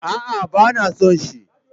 A'a, ba na son shi.